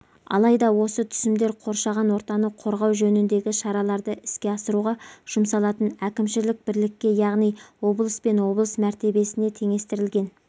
алайда осы түсімдер қоршаған ортаны қорғау жөніндегі шараларды іске асыруға жұмсалатын әкімшілік бірлікке яғни облыс пен облыс мәртебесіне теңестірілген